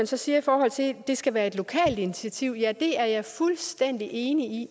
så siger i forhold til at det skal være et lokalt initiativ vil at det er jeg fuldstændig enig i